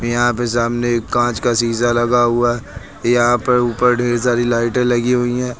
यहां पे सामने कांच का शीशा लगा हुआ यहां पर ऊपर ढेर सारी लाइटे लगी हुई हैं।